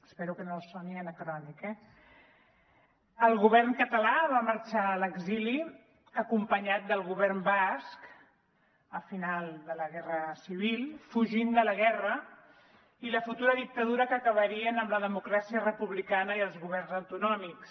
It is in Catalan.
espero que no els soni anacrònic eh el govern català va marxar a l’exili acompanyat del govern basc al final de la guerra civil fugint de la guerra i la futura dictadura que acabarien amb la democràcia republicana i els governs autonòmics